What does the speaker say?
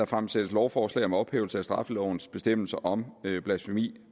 fremsættes lovforslag om ophævelse af straffelovens bestemmelse om blasfemi